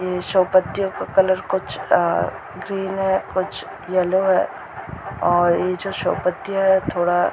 ये शो पत्तियों का कलर कुछ अ कुछ ग्रीन है अ कुछ येलो है और ये जो शो पत्तियां है थोड़ा --